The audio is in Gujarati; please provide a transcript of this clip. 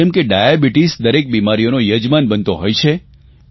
જેમ કે ડાયાબિટીસ દરેક બિમારીઓનો યજમાન બનતો હોય છે